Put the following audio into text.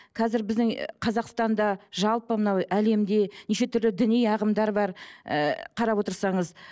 қазір біздің ы қазақстанда жалпы мынау әлемде нешетүрлі діни ағымдар бар ы қарап отырсаңыз